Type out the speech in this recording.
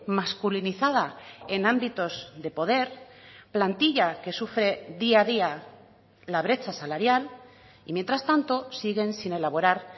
masculinizada en ámbitos de poder plantilla que sufre día a día la brecha salarial y mientras tanto siguen sin elaborar